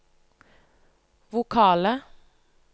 vokale